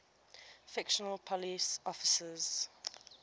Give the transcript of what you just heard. fictional police officers